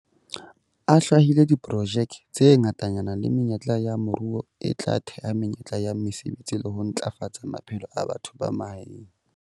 A hlwahile diprojeke tse ngatanyana le menyetla ya moruo e tla theha menyetla ya mesebetsi le ho ntlafatsa maphelo a batho ba mahaeng.